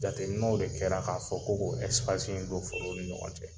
Jateminɛw de kɛra k'a fɔ ko k'o in don forow ni ɲɔgɔn cɛ.